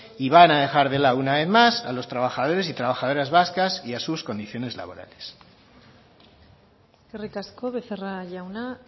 y van a dejar de lado una vez más a los trabajadores y trabajadoras vascas y a sus condiciones laborales eskerrik asko becerra jauna